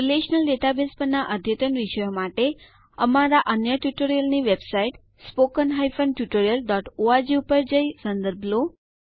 relational database પરના અદ્યતન વિષયો માટે અમારા અન્ય ટ્યુટોરીયલો ને વેબસાઇટ httpspoken tutorialorg ની મુલાકાત લઈ સંદર્ભ લો